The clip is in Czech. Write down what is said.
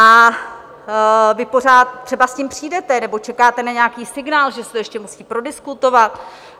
A vy pořád, třeba s tím přijdete, nebo čekáte na nějaký signál, že se to ještě musí prodiskutovat.